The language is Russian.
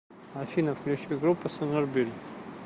афина включи группу снбрн